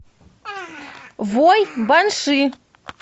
вой банши